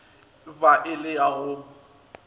ba e le ya go